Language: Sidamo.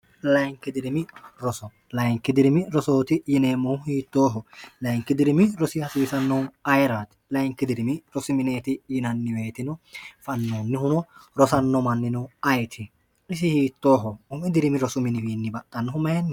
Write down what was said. layinki dirimi rosolayinkidirimi rosooti yineemmohu hiittooho layinkidirimi rosi hasiisannohu ayiraati layinki dirimi rosimineeti yinanniweetino fannoonnihuno rosanno mannino ayiti isi hiittooho umi dirimi rosuminiwiinni baxxannohu maenni